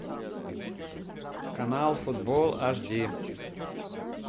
канал футбол аш ди